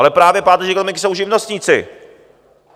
Ale právě páteří ekonomiky jsou živnostníci.